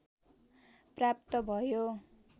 प्राप्त भयो